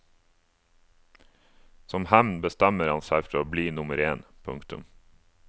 Som hevn bestemmer han seg for å bli nummer én. punktum